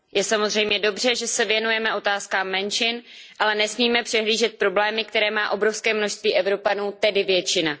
Je samozřejmě dobře, že se věnujeme otázkám menšin, ale nesmíme přehlížet problémy, které má obrovské množství Evropanů, tedy většina.